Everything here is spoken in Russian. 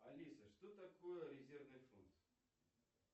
алиса что такое резервный фонд